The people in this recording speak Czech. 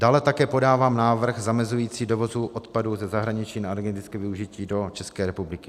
Dále také podávám návrh zamezující dovozu odpadu ze zahraničí na energetické využití do České republiky.